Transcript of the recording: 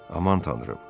Aman Tanrım!